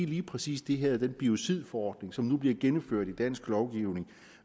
lige præcis den her biocidforordning som nu bliver gennemført i dansk lovgivning